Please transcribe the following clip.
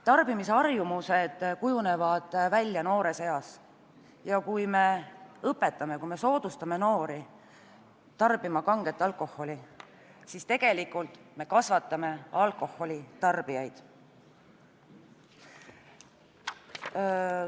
Tarbimisharjumused kujunevad välja noores eas ja kui me soodustame noori tarbima kanget alkoholi, siis tegelikult me kasvatame alkoholitarbijaid.